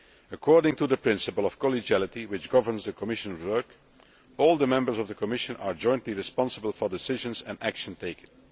According to the principle of collegiality which governs the Commission work, all the members of the Commission are jointly responsible for decisions and actions taken.